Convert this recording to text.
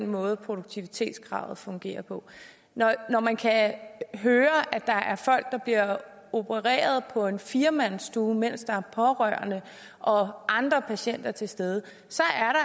måde produktivitetskravet fungerer på når man kan høre at der er folk der bliver opereret på en firemandsstue mens der er pårørende og andre patienter til stede så